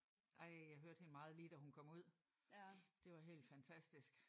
Ej jeg hørte hende meget lige da hun kom ud. Det var helt fantastisk